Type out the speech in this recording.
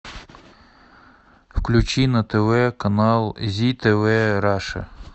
включи на тв канал зи тв раша